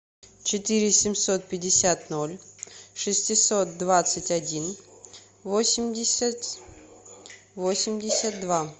четыре семьсот пятьдесят ноль шестьсот двадцать один восемьдесят восемьдесят два